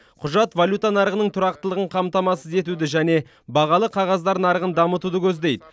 құжат валюта нарығының тұрақтылығын қамтамасыз етуді және бағалы қағаздар нарығын дамытуды көздейді